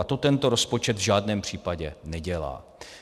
A to tento rozpočet v žádném případě nedělá.